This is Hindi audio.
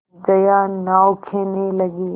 जया नाव खेने लगी